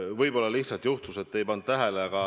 Võib-olla te lihtsalt ei pannud tähele.